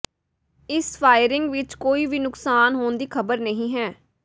ਇਸ ਫਾਇਰਿੰਗ ਵਿਚ ਕੋਈ ਵੀ ਨੁਕਸਾਨ ਹੋਣ ਦੀ ਖਬਰ ਨਹੀਂ ਹੈ